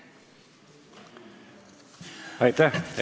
Aitäh!